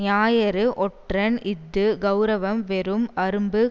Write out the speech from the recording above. ஞாயிறு ஒற்றன் இஃது கெளரவம் வெறும் அரும்பு